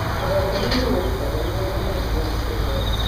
magongona nĩ marutagwo nĩ arĩa mathiaga kũhoya